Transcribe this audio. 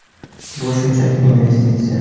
Bu shunchaki investitsiya.